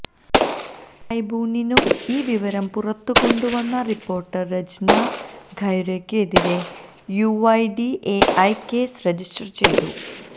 ട്രൈബ്യൂണിനും ഈ വിവരം പുറത്തുകൊണ്ടുവന്ന റിപ്പോര്ട്ടര് രചന ഖൈരയ്ക്കും എതിരെ യുഐഡിഎഐ കേസ് രജിസ്റ്റര് ചെയ്തു